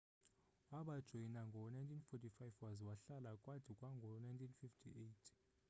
wabajoyina ngo-1945 waza wahlala kwade kwango-1958